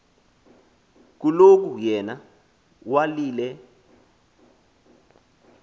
kuloko yena walile